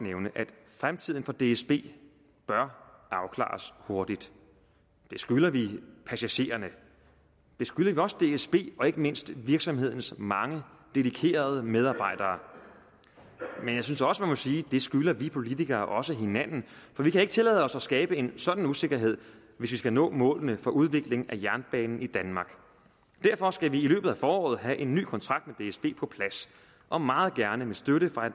fremtiden for dsb bør afklares hurtigt det skylder vi passagererne det skylder vi også dsb og ikke mindst virksomhedens mange dedikerede medarbejdere men jeg synes også man må sige at det skylder vi politikere også hinanden for vi kan ikke tillade os at skabe en sådan usikkerhed hvis vi skal nå målene for udviklingen af jernbanen i danmark derfor skal vi i løbet af foråret have en ny kontrakt med dsb på plads og meget gerne med støtte fra